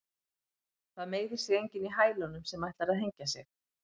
Það meiðir sig enginn í hælunum sem ætlar að hengja sig.